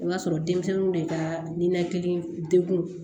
I b'a sɔrɔ denmisɛnninw de ka ninakili degun